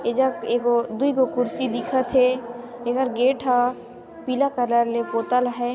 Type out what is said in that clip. इधर ए गो दुय गो कुर्सी दिखत हे एगर गेट ह पिला कलर ले पोतल हय।